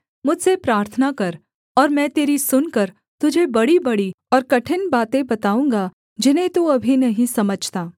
मुझसे प्रार्थना कर और मैं तेरी सुनकर तुझे बड़ीबड़ी और कठिन बातें बताऊँगा जिन्हें तू अभी नहीं समझता